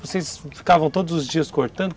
Vocês ficavam todos os dias cortando.